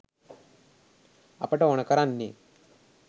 අපට ඕනෙ කරන්නේ